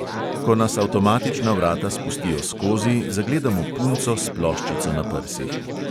Ko nas avtomatična vrata spustijo skozi, zagledamo punco s ploščico na prsih.